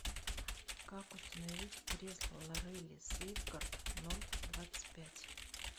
как установить кресло лорелли сейфгард ноль двадцать пять